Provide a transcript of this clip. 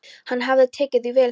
Hann hafði tekið því vel, þegar